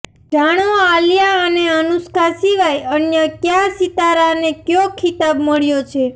જાણો આલિયા અને અનુષ્કા સિવાય અન્ય કયા સિતારાને કયો ખિતાબ મળ્યો છે